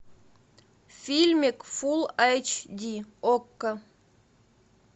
фильмик фул айч ди окко